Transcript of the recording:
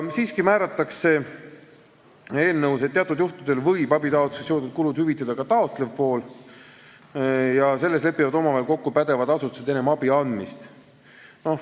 Siiski määratakse eelnõus, et teatud juhtudel võib abitaotlusega seotud kulud hüvitada ka taotlev pool, kuid selles lepivad pädevad asutused omavahel kokku enne abi andmist.